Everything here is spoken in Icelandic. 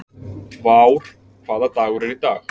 Vár, hvaða dagur er í dag?